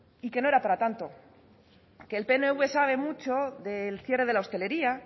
y que no era para tanto que el pnv sabe mucho del cierre de la hostelería